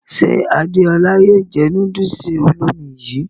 Ṣe Adéọlá yóò jẹ núdùùsì olómi yìí?